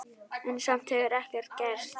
En samt hefur ekkert gerst.